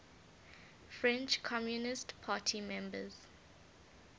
french communist party members